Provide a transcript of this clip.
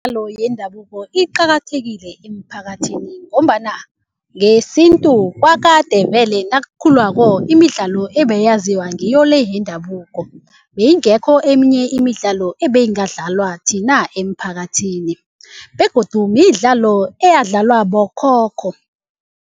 Imidlalo yendabuko iqakathekile eemphakathini ngombana ngesintu kwakade vele nakukhulwako imidlalo ebeyaziwa ngiyo le yendabuko. Beyingekho eminye imidlalo ebeyingadlalwa thina eemphakathini begodu midlalo eyadlalwa bokhokho.